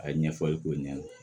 A ye ɲɛfɔli k'o ɲɛna